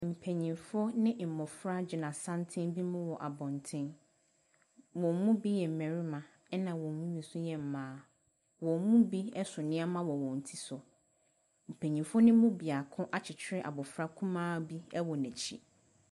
Mpanimfoɔ ne mmɔfra gyina santene bi mu wɔ abɔnten. Wɔn mu bi yɛ mmarima, ɛnna wɔn mu bi nso yɛ mmaa. Wɔn mu bi so nneɛma wɔ wɔn ti so. Mpanimfo no mu biako akyekyere abɔfra kumaa bi wɔ n'akyi.